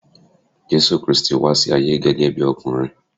Jésù Kristi wá sí ayé gẹ́gẹ́ bí ọkùnrin.